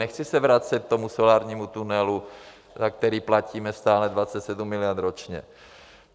Nechci se vracet k tomu solárnímu tunelu, na který platíme stále 27 miliard ročně.